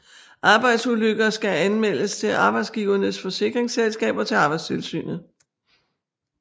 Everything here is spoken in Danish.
Arbejdsulykker skal anmeldes til arbejdsgiverens forsikringsselskab og til Arbejdstilsynet